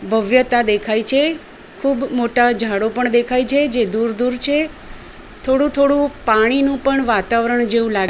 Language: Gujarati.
ભવ્યતા દેખાય છે ખૂબ મોટા ઝાડો પણ દેખાય છે જે દૂર દૂર છે થોડું થોડું પાણીનું પણ વાતાવરણ જેવું લા --